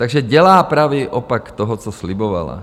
Takže dělá pravý opak toho, co slibovala.